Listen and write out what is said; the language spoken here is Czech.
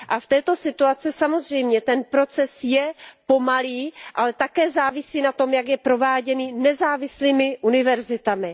A v této situaci samozřejmě ten proces je pomalý, ale také závisí na tom, jak je prováděný nezávislými univerzitami.